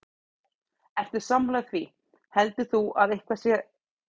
Ert þú sammála því, heldur þú að það sé eitthvað misjafnt þarna að baki?